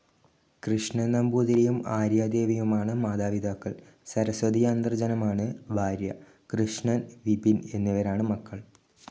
കൃഷ്ണൻ നമ്പൂതിരിയും ആര്യാദേവിയുമാണ് മാതാപിതാക്കൾ. സരസ്വതിയാന്തർജ്ജനമാണ് ഭാര്യ. കൃഷ്ണൻ, വിപിൻ എന്നിവരാണ് മക്കൾ.